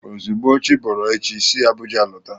Ozugbo chiboro echi, si Abuja lọta!